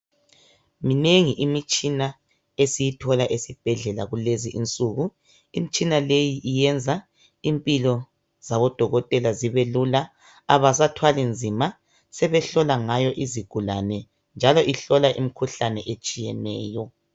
Minengi imitshina esiyithola ezibhedlela kuulezi insuku. Imitshina leyi iyenza impilo zabodokotela zibelula. Abasathwali nzima, sebehlolangayo izigulane, njalo uhlola imikhuhlane etshiyeneyo.